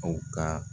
Aw ka